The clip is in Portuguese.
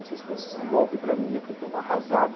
Não sei se foi um golpe para mim, eu fiquei tão arrasado.